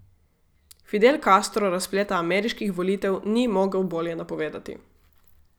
Fidel Castro razpleta ameriških volitev ni mogel bolje napovedati.